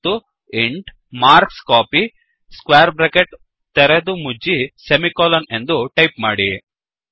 ಮತ್ತು ಇಂಟ್ ಮಾರ್ಕ್ಸ್ಕೋಪಿ ಎಂದು ಟೈಪ್ ಮಾಡಿ